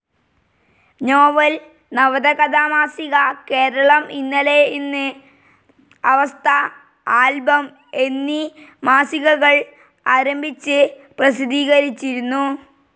Novel, നവത കഥാ മാസിക, കേരളം ഇന്നലെ ഇന്ന്, അവസ്ഥ, ആൽബം എന്നീ മാസികകൾ ആരംഭിച്ച് പ്രസിദ്ധീകരിച്ചിരുന്നു.